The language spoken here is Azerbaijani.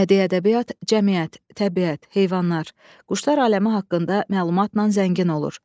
Bədii ədəbiyyat cəmiyyət, təbiət, heyvanlar, quşlar aləmi haqqında məlumatla zəngin olur.